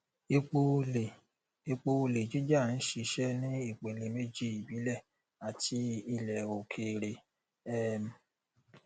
epo olè epo olè jíjà ń ṣiṣẹ ní ìpele méjì ìbílẹ àti ilẹ òkèèrè um